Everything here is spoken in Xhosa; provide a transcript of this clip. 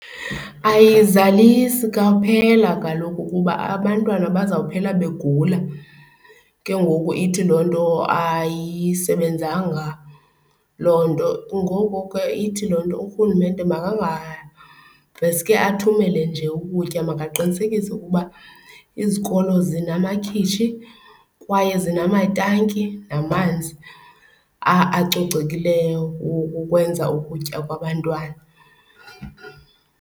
Ayizalisi kwaphela kaloku kuba abantwana bazawuphela begula ke ngoku ithi loo nto ayisebenzanga loo nto. Ngoko ke ithi loo nto urhulumente makangaveske athumele nje ukutya, makaqinisekise ukuba izikolo zinamakhitshi kwaye zinamatanki namanzi acocekileyo wokukwenza ukutya kwabantwana.